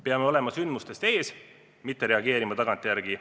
Peame olema sündmustest ees, mitte reageerima tagantjärele.